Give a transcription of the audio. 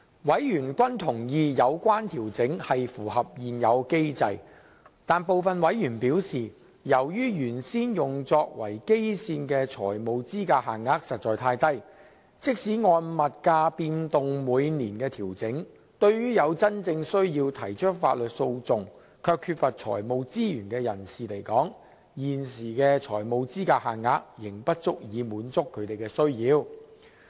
委員均認同有關調整是符合現有機制，但部分委員表示，由於原先用作為基線的財務資格限額實在太低，即使按物價變動每年調整，對於有真正需要提出法律訴訟卻缺乏財務資源的人士來說，現時的財務資格限額仍不足以滿足他們的需要。